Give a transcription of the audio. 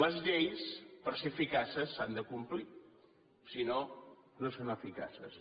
les lleis per ser eficaces s’han de complir si no no són eficaces